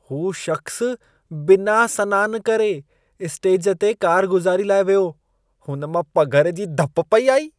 हू शख़्सु बिना सनानु करे, स्टेज ते कारगुज़ारी लाइ वियो। हुन मां पघर जी धप पेई आई।